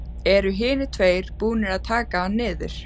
Eru hinir tveir búnir að taka hann niður.